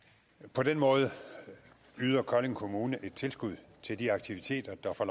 på den måde yder kolding kommune et tilskud til de aktiviteter der får